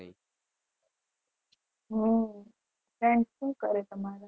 હમ friend શું કરે તમારો